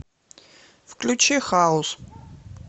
включи хаус